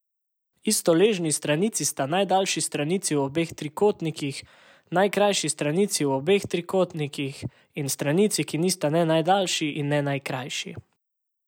Istoležni stranici sta najdaljši stranici v obeh trikotnikih, najkrajši stranici v obeh trikotnikih in stranici, ki nista ne najdaljši in ne najkrajši.